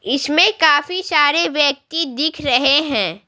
इसमें काफी सारे व्यक्ति दिख रहे हैं।